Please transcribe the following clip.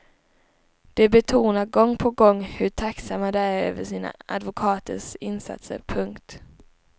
De betonar gång på gång hur tacksamma de är över sina advokaters insatser. punkt